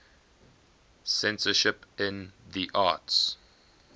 censorship in the arts